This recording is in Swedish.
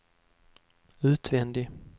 utvändig